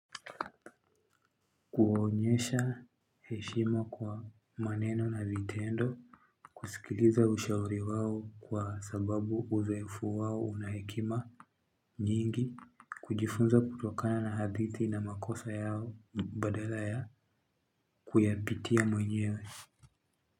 Kuonyesha heshima kwa maneno na vitendo, kusikiliza ushauri wawo kwa sababu uzoefu wawo unahekima nyingi, kujifunza kutokana na hadithi na makosa yao badala ya kuyapitia mwenyewe.